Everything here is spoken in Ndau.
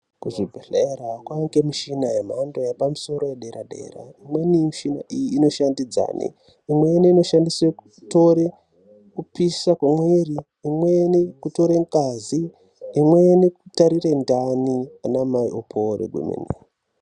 Kuchibhedhlera kwange mishina yemhando yepamusoro yedera dera imweni mishina iyi inoshandidzane , imweni inoshandiswe kutore kupisha kwemiri, imweni kutore ngazi, imweni kutarire ndani anamai opore kwemene.